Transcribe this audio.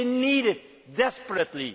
no? They need it desperately.